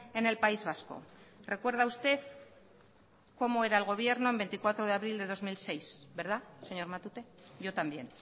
en el país vasco recuerda usted cómo era el gobierno el veinticuatro de abril de dos mil seis verdad señor matute yo también